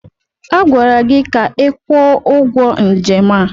Agwara gị ka ị kwụọ ụgwọ njem a!